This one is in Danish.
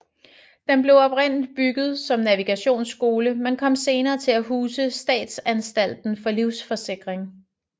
Den blev oprindeligt bygget som navigationsskole men kom senere til at huse Statsanstalten for Livsforsikring